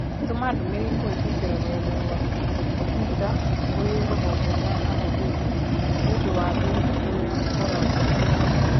Tũma Ndũmirĩri kũhĩtũkĩra rũrenda rũa tũita kũrĩ rũhonge rwa ahũthĩri nĩũndũ wa thĩna ũrĩa ngoragwo naguo